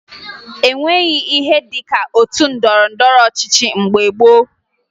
O nweghi ihe dị ka otu ndọrọndọrọ ọchịchị mgbe gboo